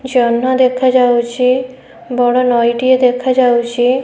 ଜହ୍ନ ଦେଖାଯାଉଛି ବଡ ନଈ ଟିଏ ଦେଖାଯାଉଚି।